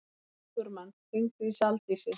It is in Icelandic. Sigurmann, hringdu í Saldísi.